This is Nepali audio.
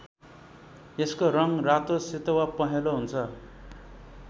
यसको रङ्ग रातो सेतो वा पहेंलो हुन्छ।